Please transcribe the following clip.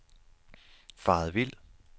faret vild